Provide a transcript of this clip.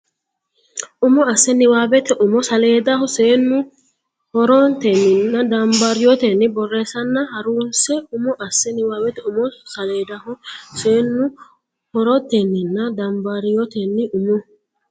Umo asse niwaawete umo saleedaho Seennu horetenninna dambaariyyotenni borreessanna ha runse Umo asse niwaawete umo saleedaho Seennu horetenninna dambaariyyotenni Umo.